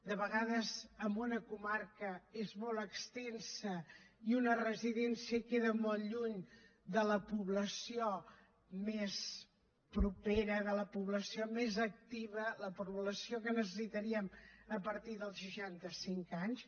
de vegades una comarca és molt extensa i una residència queda molt lluny de la població més propera de la població més activa la població que necessitaríem a partir dels seixanta cinc anys